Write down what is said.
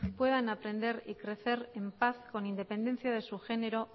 puedan aprender y crecer en paz con independencia de su género